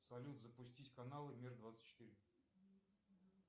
салют запустить каналы мир двадцать четыре